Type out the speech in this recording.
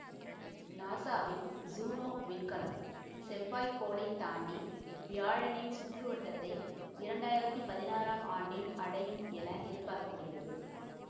நாசாவின் ஜூனோ விண்கலம் செவ்வாய் கோளைத் தாண்டி வியாழனின் சுற்று வட்டத்தை இரண்டு ஆயிரத்தி பதினாறாம் ஆண்டில் அடையும் என எதிர்பார்க்க படுகிறது